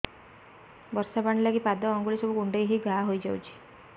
ବର୍ଷା ପାଣି ଲାଗି ପାଦ ଅଙ୍ଗୁଳି ସବୁ କୁଣ୍ଡେଇ ହେଇ ଘା ହୋଇଯାଉଛି